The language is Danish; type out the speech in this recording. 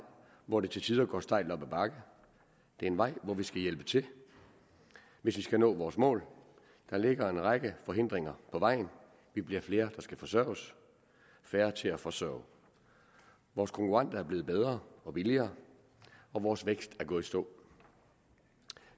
hvor det til tider går stejlt op ad bakke det er en vej hvor vi skal hjælpe til hvis vi skal nå vores mål der ligger en række forhindringer på vejen vi bliver flere der skal forsørges og færre til at forsørge vores konkurrenter er blevet bedre og billigere og vores vækst er gået i stå